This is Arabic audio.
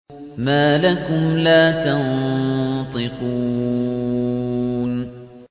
مَا لَكُمْ لَا تَنطِقُونَ